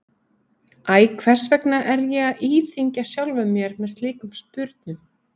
Æ, hvers vegna er ég að íþyngja sjálfum mér með slíkum spurnum?